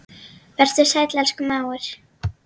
Vertu sæll, elsku mágur.